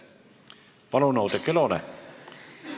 Palun, Oudekki Loone!